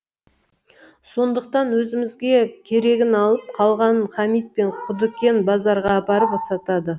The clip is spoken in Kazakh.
сондықтан өзімізге керегін алып қалғанын хамит пен құдыкен базарға апарып сатады